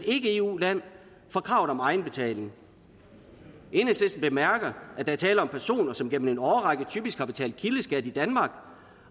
ikke eu land fra kravet om egenbetaling enhedslisten bemærker at der er tale om personer som gennem en årrække typisk har betalt kildeskat i danmark